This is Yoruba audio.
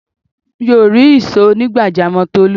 Mi ò rí ìsò onigbajamo Tolu